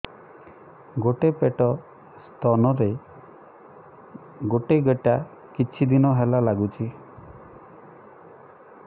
ଗୋଟେ ପଟ ସ୍ତନ ରେ ଗୋଟେ ଗେଟା କିଛି ଦିନ ହେଲା ଲାଗୁଛି